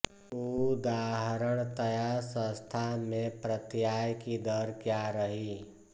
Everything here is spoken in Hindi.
उदाहरणतया संस्था में प्रत्याय की दर क्या रही